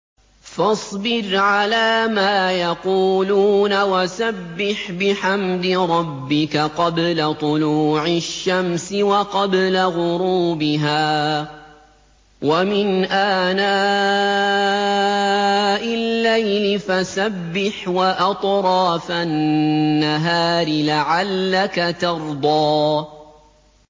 فَاصْبِرْ عَلَىٰ مَا يَقُولُونَ وَسَبِّحْ بِحَمْدِ رَبِّكَ قَبْلَ طُلُوعِ الشَّمْسِ وَقَبْلَ غُرُوبِهَا ۖ وَمِنْ آنَاءِ اللَّيْلِ فَسَبِّحْ وَأَطْرَافَ النَّهَارِ لَعَلَّكَ تَرْضَىٰ